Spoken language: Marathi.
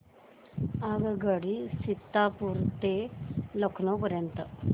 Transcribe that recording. आगगाडी सीतापुर ते लखनौ पर्यंत